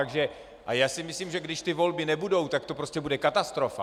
A já si myslím, že když ty volby nebudou, tak to prostě bude katastrofa.